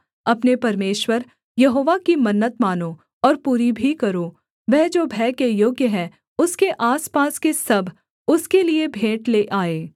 अपने परमेश्वर यहोवा की मन्नत मानो और पूरी भी करो वह जो भय के योग्य है उसके आसपास के सब उसके लिये भेंट ले आएँ